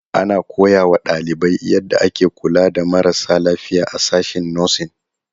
Ana koya wa ɗalibai yadda ake kula da marasa lafiya a sashen 'Nursing'.